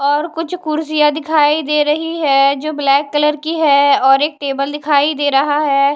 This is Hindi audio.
और कुछ कुर्सियां दिखाई दे रही है जो ब्लैक कलर की है और एक टेबल दिखाई दे रहा है।